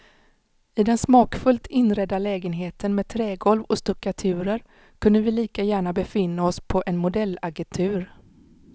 I den smakfullt inredda lägenheten med trägolv och stuckaturer kunde vi lika gärna befinna oss på en modellagentur.